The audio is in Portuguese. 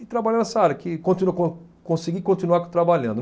E trabalhar nessa área, que continue con, conseguir continuar trabalhando.